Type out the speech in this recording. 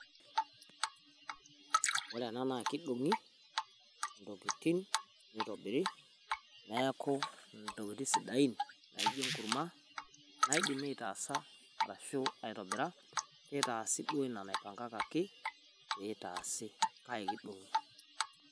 Ore ena naa kidong`i intokitin neitobiri niaku ntokitin sidain naijo enkurma naidimi aitaasa arashu aitobira, nitaasi duo ina naipangakaki pee itaasi kak kidong`i.